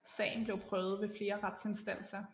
Sagen blev prøvet ved flere retsinstanser